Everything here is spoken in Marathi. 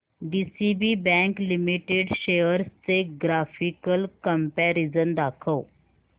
डीसीबी बँक लिमिटेड शेअर्स चे ग्राफिकल कंपॅरिझन दाखव